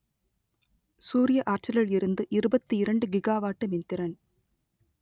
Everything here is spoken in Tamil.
சூரிய ஆற்றலில் இருந்து இருபத்தி இரண்டு கிகாவாட்டு மின்திறன்